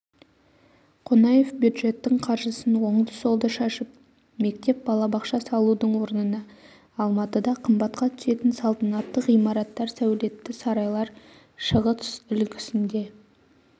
қонаев бюджеттің қаржысын оңды-солды шашып мектеп балабақша салудың орнына алматыда қымбатқа түсетін салтанатты ғимараттар сәулетті сарайлар шығыс үлгісінде